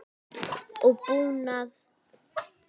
og búnað.